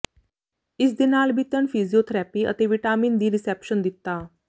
ਇਸ ਦੇ ਨਾਲ ਬੀਤਣ ਫਿਜ਼ੀਓਥਰੈਪੀ ਅਤੇ ਵਿਟਾਮਿਨ ਦੀ ਰਿਸੈਪਸ਼ਨ ਦਿੱਤਾ